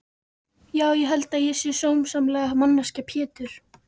Já ég held að ég sé sómasamleg manneskja Pétur.